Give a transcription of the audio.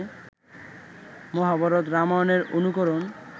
মহাভারত রামায়ণের অনুকরণ